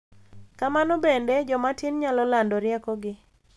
Kamano bende, joma tin nyalo lando riekogi .